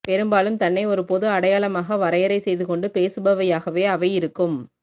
பெரும்பாலும் தன்னை ஒரு பொது அடையாளமாக வரையறை செய்துகொண்டு பேசுபவையாகவே அவை இருக்கும்